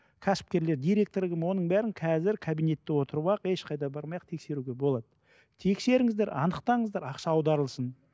кәсіпкерлер директор кім оның бәрін қазір кабинетте отырып ақ ешқайда бармай ақ тексеруге болады тексеріңіздер анықтаңыздар ақша аударылсын